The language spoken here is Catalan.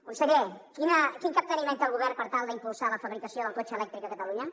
conseller quin capteniment té el govern per tal d’impulsar la fabricació del cotxe elèctric a catalunya